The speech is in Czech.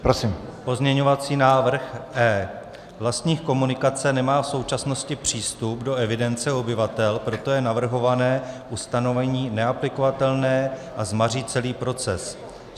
Pozměňovací návrh E. Vlastník komunikace nemá v současnosti přístup do evidence obyvatel, proto je navrhované ustanovení neaplikovatelné a zmaří celý proces.